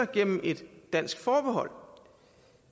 gennem et dansk forbehold